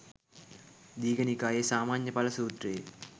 දීඝ නිකායේ සාමඤ්ඤඵල සූත්‍රයේ